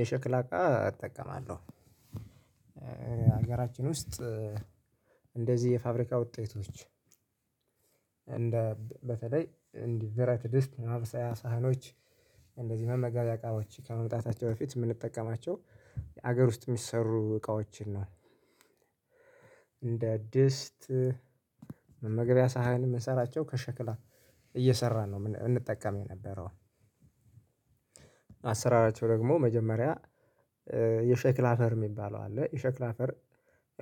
የሸክላ እቃ እጠቀማለሁ ሀገራችን ውስጥ እንደዚህ የፋብሪካ ውጤቶች በተለይ እንዲህ ብረት ድስት ማብሰያ ሳህኖች እንደዚህ መመገቢያ እቃዎች ከመምጣታቸው በፊት ምንጠቀማቸው የሀገር ውስጥ ሚሰሩ እቃዎችን ነው። እንደ ድስት መገቢያ ሳህን ምንሰራቸው ከሸክላ እየሰራን ነው ም እንጠቀም የነበረው። አሰራራቸው ደግሞ መጀመሪያ የሸክላ አፈር ሚባለው አለ የሸክላ አፈር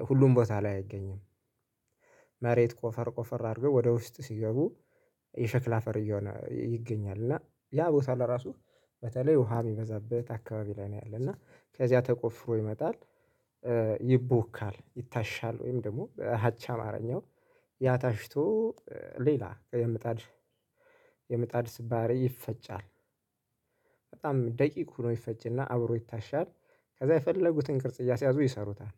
ሁሉም ቦታ ላይ አይገኝም። መሬት ቆፈር ቆፈር አድርገው ወደ ውስጥ ሲገቡ የሸክላ አፈር እየሆነ ይገኛል እና ያ ቦታ ለራሱ በተለይ ውሃ ሚበዛበት አካባቢ ላይ ነው ያለና ከዚያ ተቆፍሮ ይመጣል። ይቦካል ይታሻል ወይም ደግሞ አቻ አማረኛው ያታሽቶ ሌላ የምጣድ የምጣድ ስባሪ ይፈጫል በጣም ደቂቁ ነው ይፈጭ እና አብሮ ይታሻል ከዛ የፈለጉትን ቅርጽ እያስያዙ ይሰሩታል።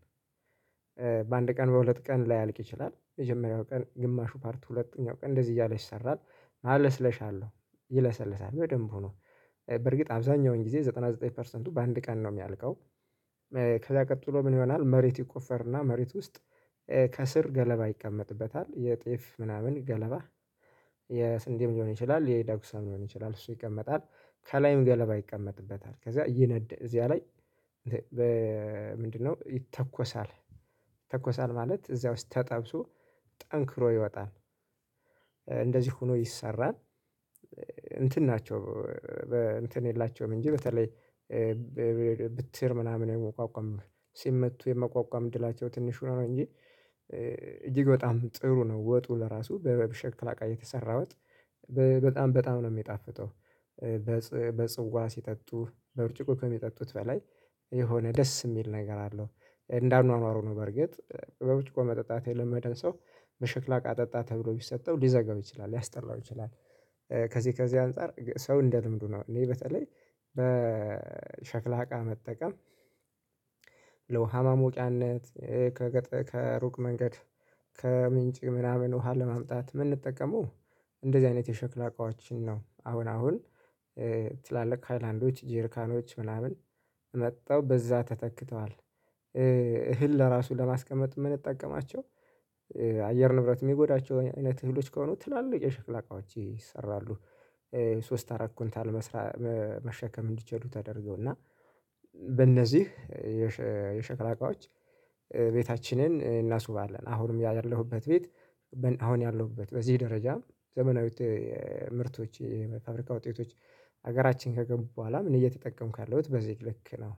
በአንድ ቀን በሁለት ቀን ላያልቅ ይችላል የመጀመሪያው ቀን ግማሹ ፓርት ሁለተኛው ቀን እንደዚህ እያለ ይሰራል። ማለስለሻ አለው ይለሰልሳል በደንብ ሆኖ በርግጥ ሀብዛኛውን ጊዜ ዘጠና ዘጠኝ ፐርሰንቱ በአንድ ቀን ነው ሚያልቀው። ከዛ ቀጥሎ ምን ይሆናል መሬት ይቆፈርና መሬት ውስጥ ከስር ገለባ ይቀመጥበታል የጤፍ ምናምን ገለባ የስንዴም ሊሆን ይችላል የዳጉሳም ሊሆን ይችላል እሱ ይቀመጣል ከላይም ገለባ ይቀመጥበታል ከዛ እዚያ ላይ በ ምንድነው ይተኮሳል። ይተኮሳል ማለት እዚያ ውስጥ ተጠብሶ ጠንክሮ ይወጣል። እንደዚህ ሆኖ ይሰራል። እንትን ናቸው እንትን የላቸውም እንጂ በተለይ ብትር ምናምን የመቋቋም ሲመቱ የመቋቋም ድላቸው ትንሽ ሆኖ ነው እንጂ። እጅግ በጣም ጥሩ ነው። ወጡ ለራሱ በበሸክላ እቃ የተሰራ ወጥ በጣም በጣም ነው ሚጣፍጠው። በጽዋ ሲጠጡ በብርጭቆ ከሚጠጡት በላይ የሆነ ደስ ሚል ነገር አለው። እንደ አኗኗሩ ነው በርግጥ በብርጭቆ መጠጣት የለመደን ሰው በሽክላ እቃ ጠጣ ተብሎ ቢሰጠው ሊዘጋው ይችላል ሊያስጠላው ይችላል። ከዚህ ከዚህ አንፃር ሰው እንደ ልምዱ ነው እኔ በተለይ በሸክላ እቃ መጠቀም። ለውሃ ማሞቂያነት ከገጠ ከሩቅ መንገድ ከምንጭ ምናምን ውሃ ለማምጣት የምንጠቀመው እንደዚህ አይነት የሸክላ እቃዎችን ነው። አሁን አሁን ትላልቅ ሃይላንዶች ጀርካኖች ምናምን መጠው በዛ ተተክተዋል። እህል ለራሱ ለማስቀመጥ ምንጠቀማቸው አየር ንብረት ሚጎዳቸው አይ አይነት እህልዎች ከሆኑ ትላለቅ የሸክላ እቃዎች ይሰራሉ። ሶስት አራት ኩንታል መስራት መ መሸከም እንዲችል ተደርገዎና በእነዚህ የሸ የሽክላ እቃዎች። ቤታችንን እናስውባለን አሁንም ያለሁበት ቤት አሁን ያለሁበት በዚህ ደረጃ ዘመናዊ ምርቶች የአፍሪካ ውጤቶች ሀገራችን ከገቡ በሁዋላም እኔ እየተጠቀምኩ ያለሁት በዚህ ልክ ነው።